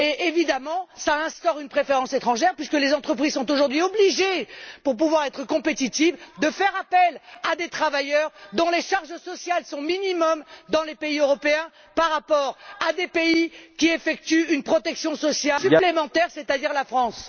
Évidemment, cela instaure une préférence étrangère puisque les entreprises sont aujourd'hui obligées, pour pouvoir être compétitives, de faire appel à des travailleurs dont les charges sociales sont minimales dans certains pays européens par rapport à ceux qui garantissent une protection supplémentaire, c'est à dire la France.